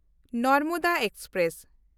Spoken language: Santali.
ᱱᱚᱨᱢᱚᱫᱟ ᱮᱠᱥᱯᱨᱮᱥ